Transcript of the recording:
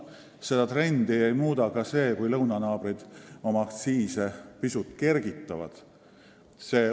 Seda trendi ei muuda ka see, kui lõunanaabrid oma aktsiise pisut kergitavad.